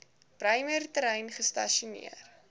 bremer terrein gestasioneer